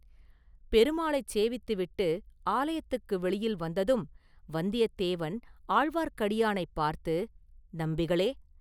பெருமாளைச் சேவித்துவிட்டு ஆலயத்துக்கு வெளியில் வந்ததும் வந்தியத்தேவன் ஆழ்வார்க்கடியானைப் பார்த்து, “நம்பிகளே!